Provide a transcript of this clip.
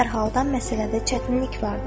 Hər halda məsələdə çətinlik vardır.